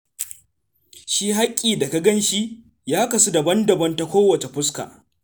Shi haƙƙi da ka gan shi, ya kasu daban-daban ta kowace fuska.